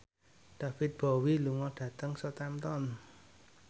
David Bowie lunga dhateng Southampton